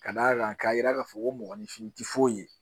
Ka d'a kan k'a yira k'a fɔ ko mɔgɔninfin tɛ foyi ye